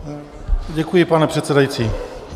Děkuji, pane předsedající.